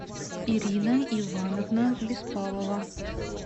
ирина ивановна беспалова